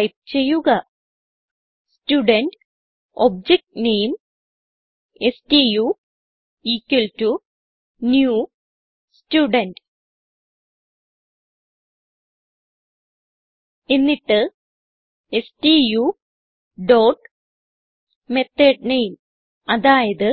type ചെയ്യുക student object name stu equal to new student എന്നിട്ട് stu dot method name അതായത്